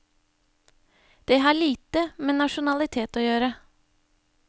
De har lite med nasjonalitet å gjøre.